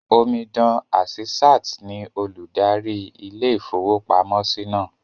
Omidan Àsísàt ní olùdarí ilé-ìfowópamọ́sí náà